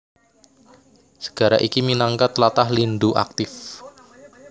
Segara iki minangka tlatah lindhu aktif